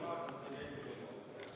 Palun, Siim Pohlak!